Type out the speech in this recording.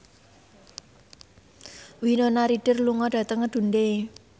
Winona Ryder lunga dhateng Dundee